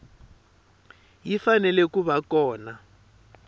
yi fanele ku va kona